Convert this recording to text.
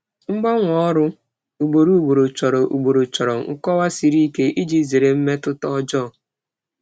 Mgbanwe ọrụ ugboro ugboro chọrọ ugboro chọrọ nkọwa siri ike iji zere mmetụta ọjọọ.